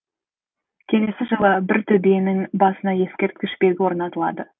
келесі жылы бір төбенің басына ескерткіш белгі орнатылды